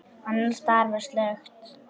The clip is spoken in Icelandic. Annars staðar var slökkt.